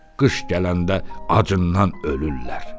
Qış gələndə acından ölürlər.